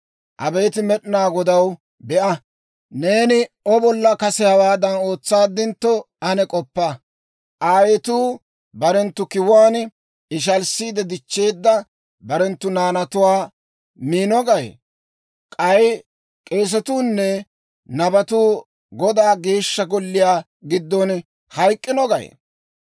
Abeet Med'inaa Godaw, be'a! Neeni O bolla kase hawaadan ootsaaddintto, ane k'oppa. Aayetuu barenttu kiwuwaan ishalissiide dichcheedda barenttu naanatuwaa miino gay? K'ay k'eesatuu nne nabetuu Godaa Geeshsha Golliyaa giddon hayk'k'ino gay?